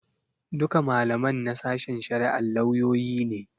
Duka malaman na sashen shari'ar lauyoyi ne.